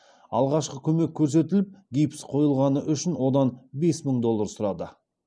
алғашқы көмек көрсетіліп гипс қойылғаны үшін одан бес мың доллар сұрады